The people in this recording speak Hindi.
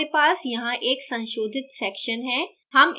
अब हमारे पास यहाँ एक संशोधित section है